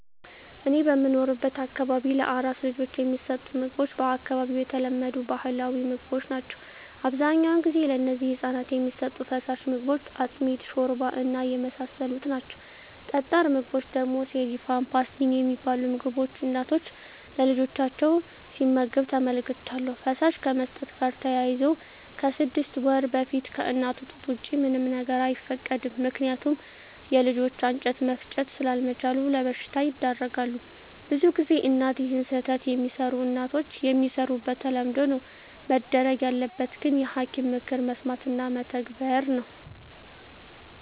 እኔ በምኖርበት አካባቢ ለአራስ ልጆች የሚሠጡት ምግቦች በአካባቢው የተለመዱ ባህላዊ ምግቦች ናቸው አብዛኛውን ጊዜ ለነዚህ ህፃናት የሚሠጡ ፋሳሽ ምግቦች አጥሚት ሾርባ እና የመሳሰሉት ናቸው ጠጣር ምግቦች ደግሞ ሴሪፍም ፓስቲኒ የሚባሉ ምግቦች እናቶች ለልጆቻቸው ሲመግብ ተመልክቻለሁ ፈሳሽ ከመስጠት ጋር ተያይዞ ከስድስት ወር በፊት ከእናቱ ጡት ወጪ ምንም ነገር አይፈቀድም ምከንያቱም የልጆች አንጀት መፍጨት ስላምችሉ ለበሽታ ይዳረጋሉ። ብዙ ጊዜ እናት ይህን ስህተት የሚሰሩ እናቶች የሚሰሩት በተለምዶ ነው መደረግ ያለበት ግን የሐኪም ምክር መስማት እና መተግበር ነው።